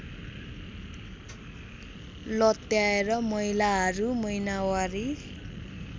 लत्याएर महिलाहरू महिनावारी